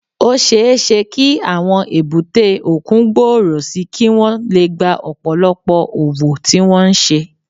Ó ṣeé ṣe kí àwọn èbúté òkun gbòòrò sí i kí wọ́n lè gba ọ̀pọ̀lọpọ̀ òwò tí wọ́n ń ṣe